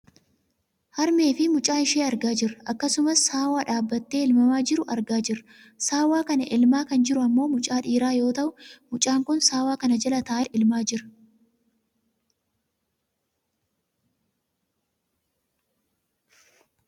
Harmee fi mucaa ishee argaa jirra. Akkasumas saawwaa dhaabbatee elmamaa jiru argaa jirra. Saawwa kana elmaa kan jiru ammoo mucaa dhiiraa yoo ta'u mucaan kun saawwa kana jala taa'eet elmaa jira.